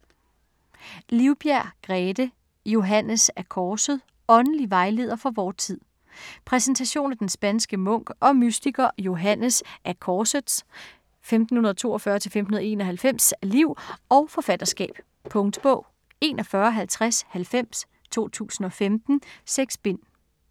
Livbjerg, Grethe: Johannes af Korset: åndelig vejleder for vor tid Præsentation af den spanske munk og mystiker Johannes af Korsets (1542-1591) liv og forfatterskab. Punktbog 415090 2015. 6 bind.